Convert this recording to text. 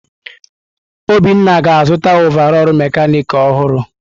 Obinna ga-azụta ọvarọọr mekanịkị ọhụrụ.